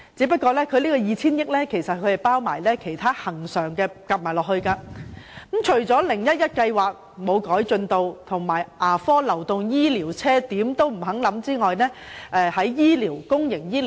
不過，這 2,000 億元還包括了其他恆常開支，而且 "0-1-1" 方案毫無寸進，牙科流動醫療車的建議亦不獲接納。